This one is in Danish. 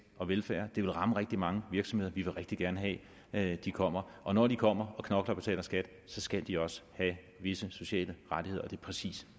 og velfærd og ville ramme rigtig mange virksomheder vi vil rigtig gerne have at de kommer og når de kommer og knokler og betaler skat skal de også have visse sociale rettigheder og det er præcis